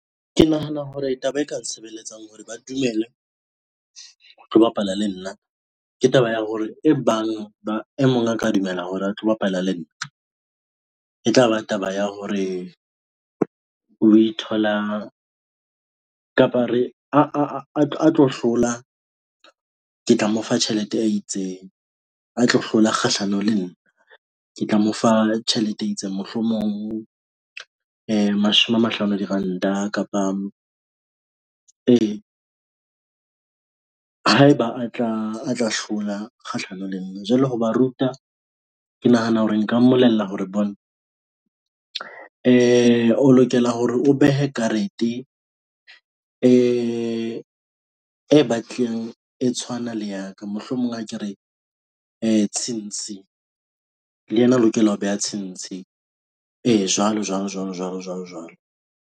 Ke nahana hore taba e ka nsebeletsang hore ba dumele ho tlo bapala le nna ke taba ya hore e bang ba e mong a ka dumela hore a tlo bapala le nna e tlaba taba ya hore o ithola kapa re a tlo hlola ke tla mo fa tjhelete a itseng a tlo hlola kgahlanong le nna ke tla mo fa tjhelete e itseng. Mohlomong mashome a mahlano a diranta kapa haeba a tla hlola kgahlano le nna jwale ho ba ruta. Ke nahana hore nka mmolella hore bona e o lokela hore o behe karete batlile e tshwana le ya ka mohlomong akere e tshintshi le ena, a lokela ho beha tshwantsheng , jwalo, jwalo, jwalo, jwalo, jwalo jwalo.